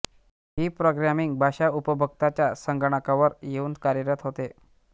ही programming भाषा उपभोक्ताच्या संगणकावर येऊन कार्यरत होते